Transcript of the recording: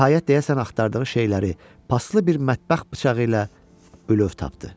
Nəhayət, deyəsən axtardığı şeyləri paslı bir mətbəx bıçağı ilə bülöv tapdı.